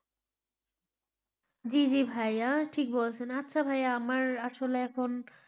জী জী ভাইয়া ঠিক বলছেন আচ্ছা ভাইয়া আমার আসলে এখন,